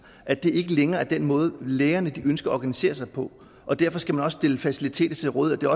at det ikke længere er den måde lægerne ønsker at organisere sig på og derfor skal man også stille faciliteter til rådighed det